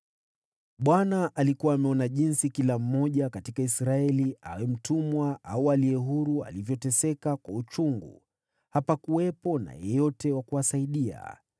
Bwana alikuwa ameona jinsi kila mmoja katika Israeli, awe mtumwa au aliye huru, alivyoteseka kwa uchungu; hapakuwepo na yeyote wa kuwasaidia.